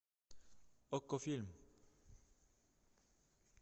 окко фильм